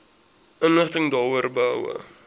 inligting daaroor behoue